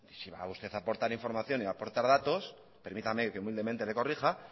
si va usted a aportar información y aportar datos permítame que humildemente le corrija